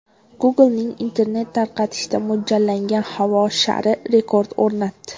Google’ning internet tarqatishga mo‘ljallangan havo shari rekord o‘rnatdi .